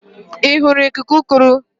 Ị hụrụ ikuku ụgụrụ?